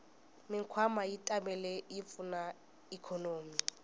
mikwama yatimale yipfuna ikonomi